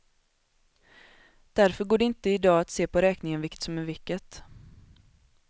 Därför går det inte i dag att se på räkningen vilket som är vilket.